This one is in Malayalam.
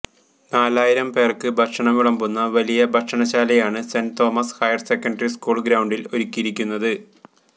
നാലായിരം പേർക്ക് ഭക്ഷണം വിളമ്പുന്ന വലിയ ഭക്ഷണശാലയാണ് സെന്റ് തോമസ് ഹയർസെക്കണ്ടറി സ്കൂൾ ഗ്രൌണ്ടിൽ ഒരുക്കിയിരിക്കുന്നത്